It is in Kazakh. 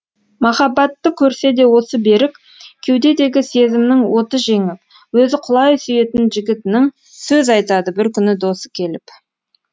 махаббатты көрсе де осы берік кеудедегі сезімнің оты жеңіп өзі құлай сүйетін жігітінің сөз айтады бір күні досы келіп